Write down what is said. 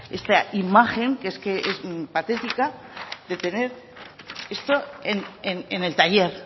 esta imagen que es que es patética de tener esto en el taller